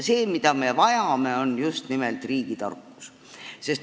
See, mida me vajame, on just nimelt riigitarkus.